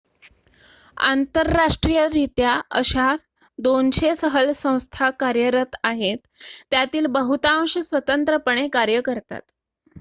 आंतरराष्ट्रीयरित्या अशा 200 सहल संस्था कार्यरत आहेत त्यातील बहुतांश स्वतंत्रपणे कार्य करतात